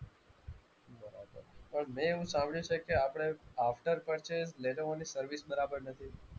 પણ મેં એવું સાંભળ્યું છે કે આપણે after purchase લેનોવો ની સર્વિસ બરાબર નથી.